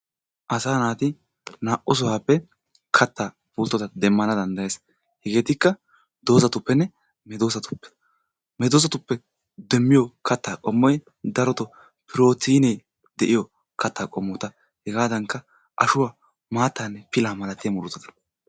Asaa naati na"u sohuwappe kattaa pulttota demmana danddayees. Hegeetikka dozatuppenne medoosatuppe. Medoosatuppe demmiyo kattaa qommoy darotoo pirottiinee de'iyo kattaa qommota hegaadankka, ashuwa maattaanne pilaa malatiya murutata